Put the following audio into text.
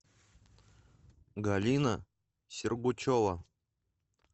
галина сергучева